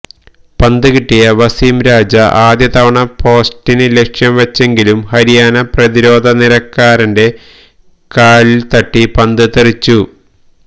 പന്ത് കിട്ടിയ വസീംരാജ ആദ്യതവണ പോസ്റ്റിന് ലക്ഷ്യം വച്ചെങ്കിലും ഹരിയാന പ്രതിരോധനിരക്കാരന്റെ കാലില്ത്തട്ടി പന്ത് തെറിച്ചു